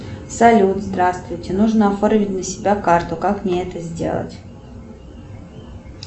салют здравствуйте нужно оформить на себя карту как мне это сделать